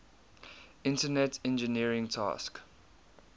internet engineering task